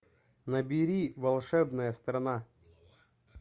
набери волшебная страна